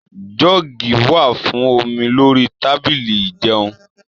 Jọọ́gí wà fún omi lórí tábìlì ijẹun.